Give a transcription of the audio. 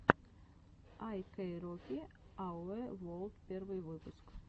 ай кэн роки ауэ ворлд первый выпуск